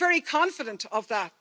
I'm very confident of that.